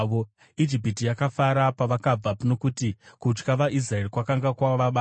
Ijipiti yakafara pavakabva, nokuti kutya vaIsraeri kwakanga kwavabata.